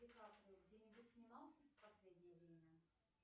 ди каприо где нибудь снимался в последнее время